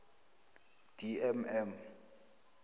d m m